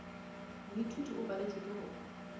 moithuti o paletšwe ke go